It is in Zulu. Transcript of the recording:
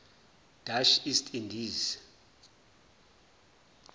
dutch east indies